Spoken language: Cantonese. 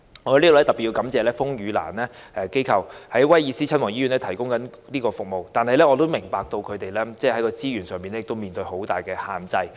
我在此要特別感謝風雨蘭這一機構在該醫院提供服務。然而，我明白到它在資源上面對很大限制。